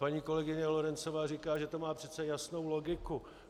Paní kolegyně Lorencová říká, že to má přece jasnou logiku.